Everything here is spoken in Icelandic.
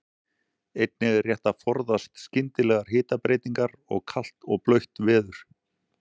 Einnig er rétt að forðast skyndilegar hitabreytingar og kalt og blautt veður.